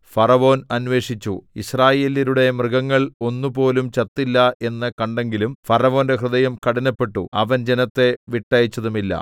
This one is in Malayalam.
ഫറവോൻ അന്വേഷിച്ചു യിസ്രായേല്യരുടെ മൃഗങ്ങൾ ഒന്നുപോലും ചത്തില്ല എന്ന് കണ്ടെങ്കിലും ഫറവോന്റെ ഹൃദയം കഠിനപ്പെട്ടു അവൻ ജനത്തെ വിട്ടയച്ചതുമില്ല